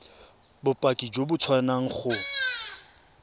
bopaki jo bo tswang go